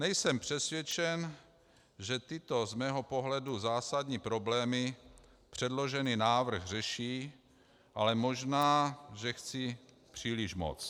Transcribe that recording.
Nejsem přesvědčen, že tyto z mého pohledu zásadní problémy předložený návrh řeší, ale možná, že chci příliš moc.